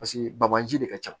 Paseke bagaji de ka ca